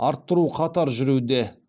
арттыру қатар жүруде